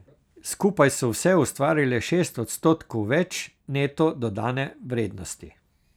Skupaj so vse ustvarile šest odstotkov več neto dodane vrednosti.